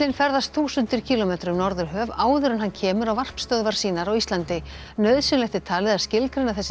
ferðast þúsundir kílómetra um Norðurhöf áður en hann kemur á varpstöðvar sínar á Íslandi nauðsynlegt er talið að skilgreina þessi